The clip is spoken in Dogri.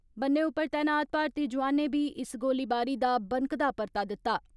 बन्ने उप्पर तैनात भारतीय जोआनें बी इसस गोलीबारी दा बनकदा परता दित्ता।